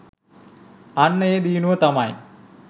අන්න ඒ දියුණුව තමයි